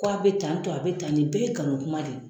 Ko a be tan tɔ, a be tan tɔ, nin bɛ ye nkalon kuma de ye.